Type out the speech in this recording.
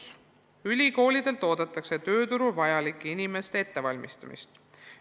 Samas oodatakse ülikoolidelt tööturul vajalike inimeste ettevalmistamist.